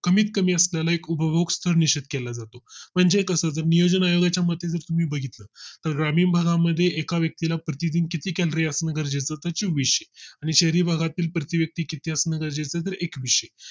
कमीत कमी असल्याने उभवकस्थ निश्चित केला जातो म्हणजे कसं नियोजन आयोगा च्या मते जर तुम्ही बघितलं तर ग्रामीण भागा मध्ये एका व्यक्ती ला प्रतिदिन किती Calorie असणं गरजेचं होतं आणि शहरी भागातील प्रति व्यक्ति किती असणार जर एक विषय